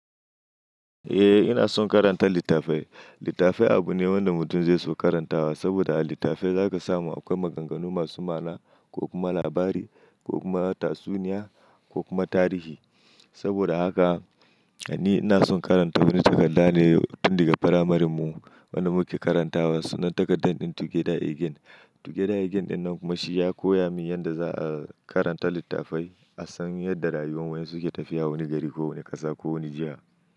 Eh ina son karanta littafai. Littafi abu ne wanda mutum zai so karantawa saboda a littafin za ka samu akwai maganganu masu ma'ana ko kuma labari ko kuma tatsuniya ko kuma tarihi. Saboda haka ni ina son karanta wani takarda ne tun daga firamaren mu wanda muke karantawa sunan takardar din Together Again. Together Again din nan kuma shi ya koya min yadda za a karanta littafai a san yadda rayuwan waye suke tafiya wani gari ko wani ƙasa ko wani jiha.